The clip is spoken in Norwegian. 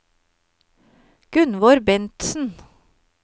Gunvor Bentsen